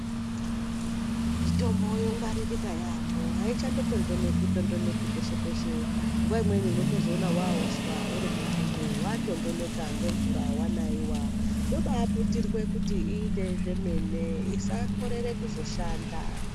Mitombo yongwaririka yaamho. Ayichatondoneki tondoneki peshe pashe. Nguwa imweni unotozoona hwaauswa iri mumbudo yatondoneka nemvura wanaiwa. Yobaaputirike kuti iite zvemene isakorere kushanda.